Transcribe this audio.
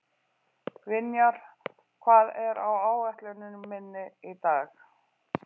Vinjar, hvað er á áætluninni minni í dag?